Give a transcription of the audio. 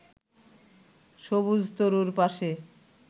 সবুজ তরুর পাশে